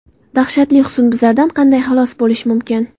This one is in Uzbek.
Dahshatli husnbuzardan qanday xalos bo‘lish mumkin?.